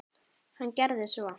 Hann gerði svo.